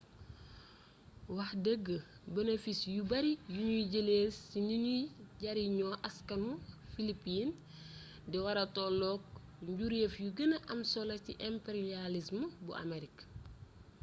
wax dëgg bonofis yu bari yuñuy jëlee ci niñuy jariñoo askanu filipin di wara tollook njuréef yu gëna am solo ci imperiyalism bu amerik